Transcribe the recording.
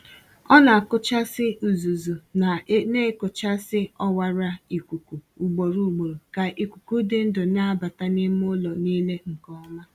Ọ na-akụchasị uzuzu na-ekochisi ọwara ikuku ugboro ugboro ka ikuku dị ndụ na-abata n’ime ụlọ niile nke Ọma.